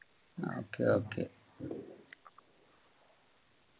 okay okay